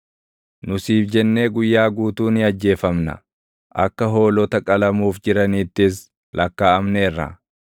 Nu siif jennee guyyaa guutuu ni ajjeefamna; akka hoolota qalamuuf jiraniittis lakkaaʼamneerra.